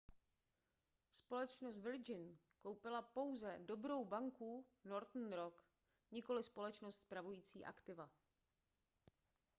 společnost virgin koupila pouze dobrou banku northern rock nikoliv společnost spravující aktiva